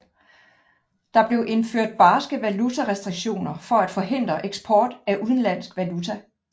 Der blev indført barske valutarestriktioner for at forhindre eksport af udenlandsk valuta